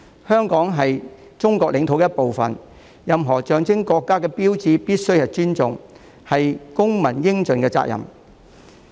香港是中國領土的一部分，我們必須尊重任何象徵國家的標誌，這是公民應盡的責任。